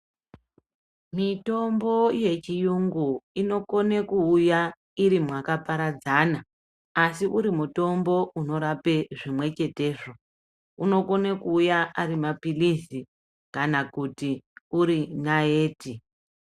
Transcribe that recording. Mitombo yechiyungu inokone kuuya iri mwakaparadzana asi uri mutombo unorape zvimwe chetezvo, unokone kuuya ari mapirizi kana kuti nayiti.